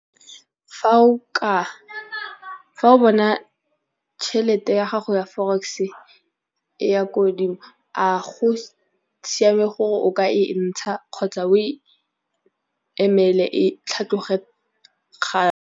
Fa o bona tšhelete ya gago ya forex e ya ko godimo, a go siame gore o ka e ntsha kgotsa o e emele e tlhatlhoge gape.